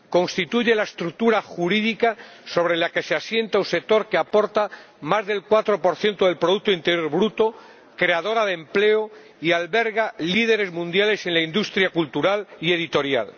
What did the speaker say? Constituye la estructura jurídica sobre la que se asienta un sector que aporta más del 4 del producto interior bruto, creador de empleo y que alberga líderes mundiales en la industria cultural y editorial.